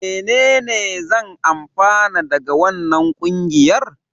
Menene zan amfana daga wannan ƙungiyar?